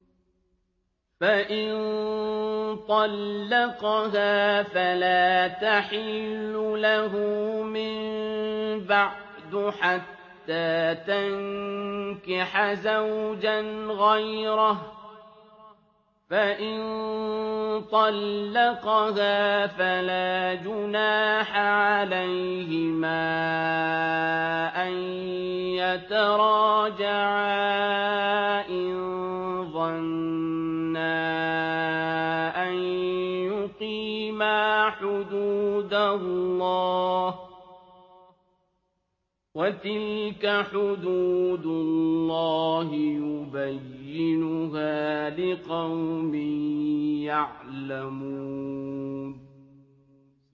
فَإِن طَلَّقَهَا فَلَا تَحِلُّ لَهُ مِن بَعْدُ حَتَّىٰ تَنكِحَ زَوْجًا غَيْرَهُ ۗ فَإِن طَلَّقَهَا فَلَا جُنَاحَ عَلَيْهِمَا أَن يَتَرَاجَعَا إِن ظَنَّا أَن يُقِيمَا حُدُودَ اللَّهِ ۗ وَتِلْكَ حُدُودُ اللَّهِ يُبَيِّنُهَا لِقَوْمٍ يَعْلَمُونَ